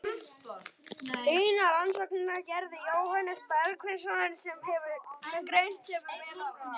Hina rannsóknina gerði Jóhannes Bergsveinsson, sem greint hefur verið frá.